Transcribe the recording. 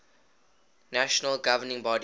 national governing body